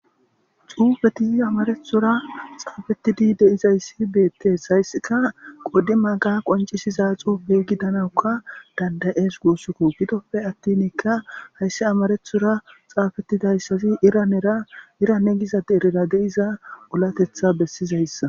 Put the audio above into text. xuufeti amarethora xaafettidi de'izayssi beettees hayssika qoddi maga qoncisiza xuufey gidanawukka dandayees guussukko gidoppe attinikka haysse amarethora xaafettidayssazi iranera irane giza deerira de'iza ulatetha bessizayssa